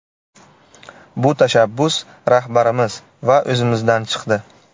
Bu tashabbus rahbarimiz va o‘zimizdan chiqdi.